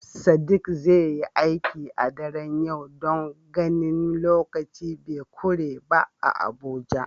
Sadiq zai yi aiki a daren yau don ganin lokaci be kure ba a Abuja.